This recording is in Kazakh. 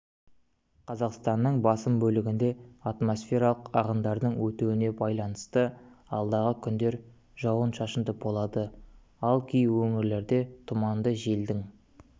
қазақстанның басым бөлігінде атмосфералық ағындардың өтуіне байланысты алдағы күндер жауын-шашынды болады ал кей өңірлерде тұман желдің